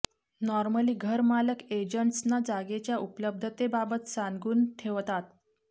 normally घरमालक agents ना जागेच्या उपलब्धतेबाबत सान्गुन ठेवतात